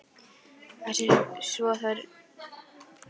Þessi svokallaða játning hans hlýtur að vera einhver misskilningur, bara